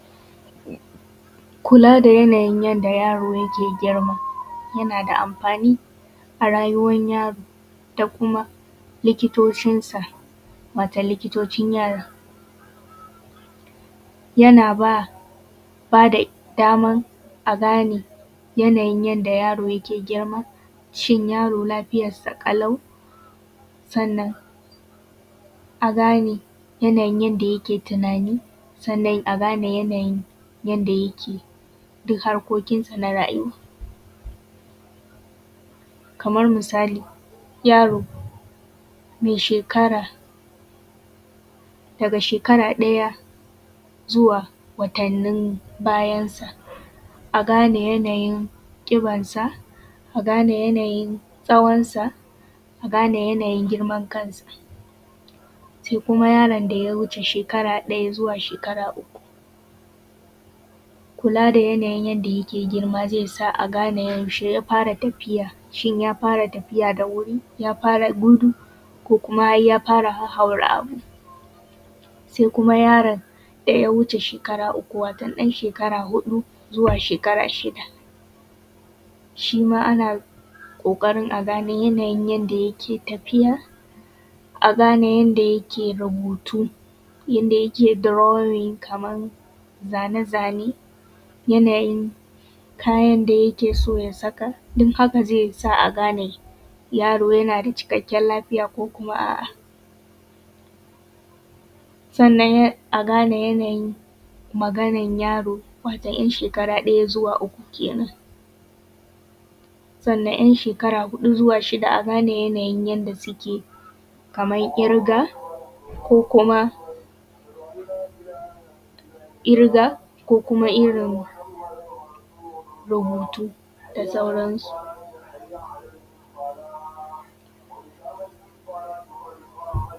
Kulaa da yanayin yadda yaaro yake girma, yanaa da amfaani a raayuwan yaro da kuma likitocinsa wato likitocin yaaron. Yana baa da daman a gane yanayin yadda yaro ke girma, shin yaro lafiyansa ƙalau, sannan a gane yanayin yadda yake tunaani, sannan a gane yanayin yanda yake duk harkokinsa na raayuwa. Kamar misali yaro ya sheekara daga sheekara ɗaya zuwa watannin bayansa, a gane yanayin ƙibansa a gane yanayin tsawonsa a gane yanayin girman kansa Sai kuma yaron da ya wuce sheekara ɗaya zuwa sheekara uku, kulaa da yanayin yadda yake girma, yana sa a ganee yaushee ya fara tafiya, shin ya fara tafiya da wuri, ya fara gudu ko kuma har ya fara hahhaura abu. Sai kuma ya:ron da ya wuce sheekara uku wato ɗan sheekara huɗu zuwa shekara shida, shi maa ana ƙooƙarin a gane yanayin yadda yake tafiya, a gane yadda yake rubuutu, yanda yake drawing kaman zane-zane, yanayin kayan da yake so ya saka, dun haka zai sa a gane yaro yana da cikakkiyar lafiya ko kuma a'a Sannan a gane yanayin maganan yaro wato ɗan sheekara ɗaya zuwa uku ke nan. Sannan 'yan sheekara huɗu zuwa shida a gane yanayin yadda suke kamar ƙirgaa ko kuma ƙirgaa ko kuma irin rubuutu da sauransu.